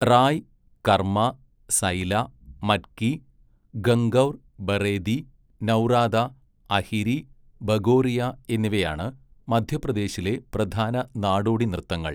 റായ്, കർമ്മ, സൈല, മറ്റ്കി, ഗംഗൗർ, ബറേദി, നൗറാത, അഹിരി, ഭഗോറിയ എന്നിവയാണ് മധ്യപ്രദേശിലെ പ്രധാന നാടോടി നൃത്തങ്ങൾ.